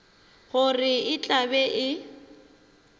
gore e tla be e